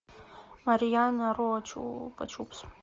марьяна ро чупа чупс